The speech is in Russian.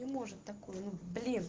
не может такое ну блин